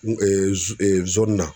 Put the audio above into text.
N na